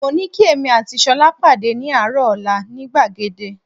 Mo ní kí èmi àti Ṣọlá pàdé ní àárọ̀ ọ̀la ní gbàgede